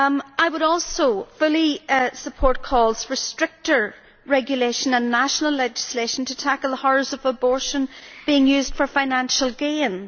I would also fully support calls for stricter regulation in national legislation to tackle the horrors of abortion being used for financial gain.